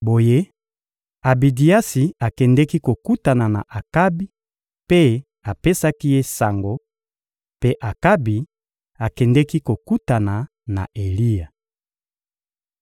Boye Abidiasi akendeki kokutana na Akabi mpe apesaki ye sango; mpe Akabi akendeki kokutana na Eliya.